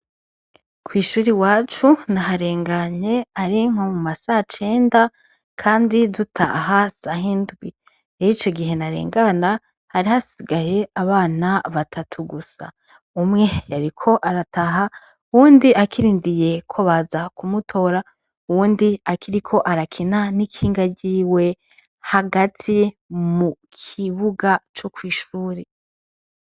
Kw'ishure iwacu naharenganye ari nko mumasacenda Kandi dutaha sahindwi. Ico gihe narengana hari hasigaye abana batatu gusa. Umwe yariko arataha, uwundi akirindiriye ko baza kumutora, uwundi akiriko arakina nikinga ryiwe hagati mukibuga co kw'ishure.